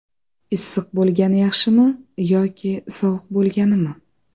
Issiq bo‘lgani yaxshimi yoki sovuq bo‘lganimi?